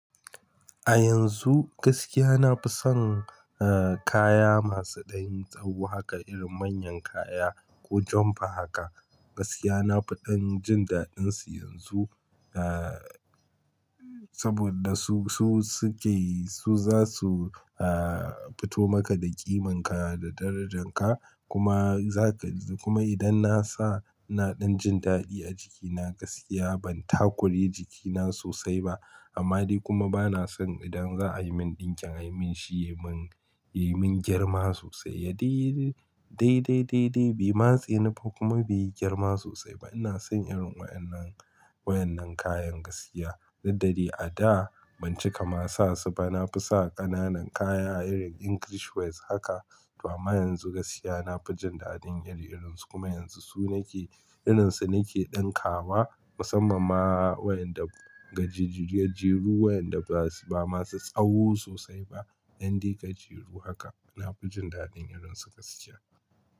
A yanzu gaskiya na fi son, eh, kaya masu ɗan tsaho haka irin manyan kaya ko jumper haka. Gaskiya na fi ɗan jin daɗinsu yanzu, eh, saboda su, su suke su za su, eh, fito maka da ƙiman ka da darajan ka kuma zaka kuma idan na sa na ɗan jin daɗi a jikina gaskiya ban takure jikina sosai ba. Amma dai kuma bana son idan za a yi min ɗinkin a yi mun shi ya mun, ya mun girma sosai. Ya de, dai, dai, dai, dai bai matse ni ba kuma bai yi girma sosai ba. Ina son irin waɗannan, waɗannan kayan gaskiya. Duk da dai a da ban cika ma sa su ba. Na fi sa ƙananan kaya a irin English wears haka. Amma yanzu gaskiya na fi jin daɗin iri-irinsu kuma yanzu su nake irinsu nake ɗinkawa musamman ma waɗanda gajeru, gajeru waɗanda ba masu tsaho sosai ba, ƴan dai gajeru haka. Na fi jin daɗin irinsu gaskiya.